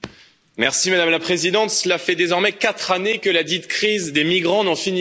Madame la Présidente, cela fait désormais quatre années que ladite crise des migrants n'en finit plus.